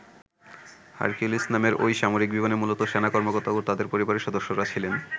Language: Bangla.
হারকিউলিস নামের ঐ সামরিক বিমানে মূলত সেনা কর্মকর্তা ও তাদের পরিবারের সদস্যরা ছিলেন।